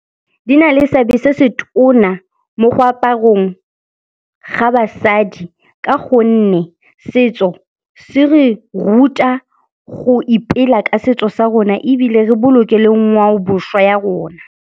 Di na le seabe se se tona mo go aparong ga basadi ka gonne setso se re ruta go ipela ka setso sa rona ebile re boloke le ngwaobošwa ya rona.